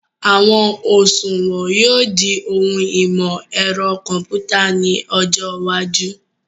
Àwọn òṣùwọ̀n yóò di ohun ìmọ̀ ẹ̀rọ kọ̀mpútà ní ọjọ́ iwájú